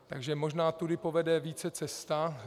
Takže možná tudy povede více cesta.